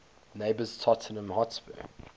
neighbours tottenham hotspur